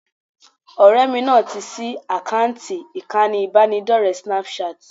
Ọ̀rẹ́ mi náà ti ṣí àkáǹtì ìkànnì ìbánidọ́rẹ̀ẹ́ Snapchat